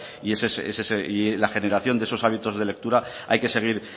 y ese es y la generación de esos hábitos de lectura hay que seguir